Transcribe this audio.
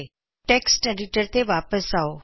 text editor ਤੇ ਵਾਪਿਸ ਆਓ